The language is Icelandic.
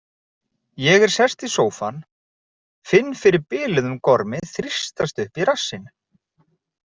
Ég er sest í sófann, finn fyrir biluðum gormi þrýstast upp í rassinn.